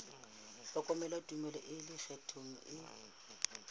hloka tumello e ikgethang e